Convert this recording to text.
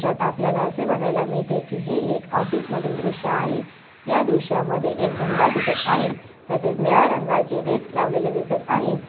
दृश्यात आपल्याला असे बघायला मिळते कि हे एक ऑफिस मधील दृश्य आहे या दृश्यामध्ये एक झेंडा दिसत आहेत तसेच निळ्या रंगाचे डेस्क लावलेले दिसत आहेत.